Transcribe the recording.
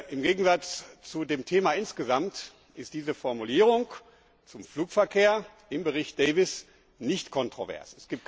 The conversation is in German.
Im Gegensatz zu dem Thema insgesamt ist diese Formulierung zum Flugverkehr im Bericht Davies nicht kontrovers.